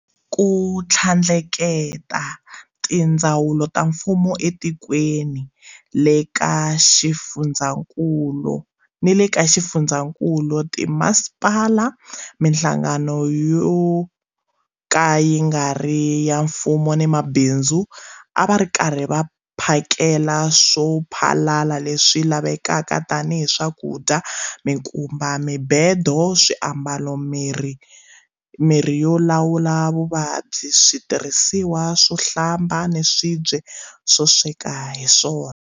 Ku tlhandlekela, tindzawulo ta mfumo etikweni ni le ka swifundzankulu, timasipala, mihlangano yo ka yi nga ri ya mfumo ni mabindzu a va ri karhi va phakela swo phalala leswi lavekaka tanihi swakudya, mikumba, mibedo, swiambalo, mirhi yo lawula vuvabyi, switirhisiwa swo hlamba ni swibye swo sweka hi swona.